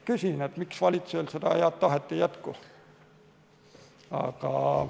Küsin, miks valitsusel seda head tahet ei jätku.